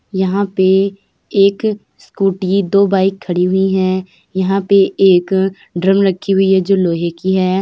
यहाँ पे एक स्कूटी दो बाइक खड़ी हुई हैं। यहाँ पे एक ड्रम रखी हुई है जो लोहे की है।